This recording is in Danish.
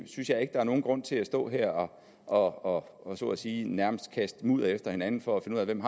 synes jeg ikke der er nogen grund til at stå her og og så at sige nærmest kaste mudder efter hinanden for at finde ud af hvem